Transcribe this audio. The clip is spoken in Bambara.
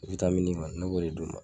witamini kɔni ne b'olu le d'u ma